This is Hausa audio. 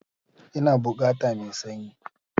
Ina bukata mai sanyi